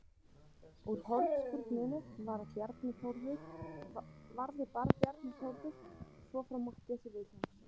Úr hornspyrnunni varði Bjarni Þórður svo frá Matthíasi Vilhjálmssyni.